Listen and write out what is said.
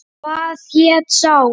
Hvað hét sá?